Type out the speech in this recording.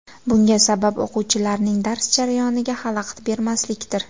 Bunga sabab o‘quvchilarning dars jarayoniga xalaqit bermaslikdir.